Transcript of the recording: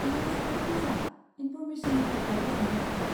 बेयो जोबोद मोजां। इनफ'रमेसननि थाखाय गोजोन्नाय थाबाय।